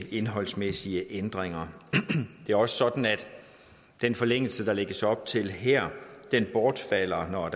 indholdsmæssige ændringer det er også sådan at den forlængelse der lægges op til her bortfalder når